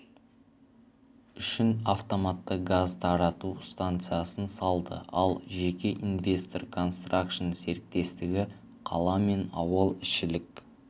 үшін автоматты газ тарату станциясын салды ал жеке инвестор констракшн серіктестігі қала мен ауыл ішілік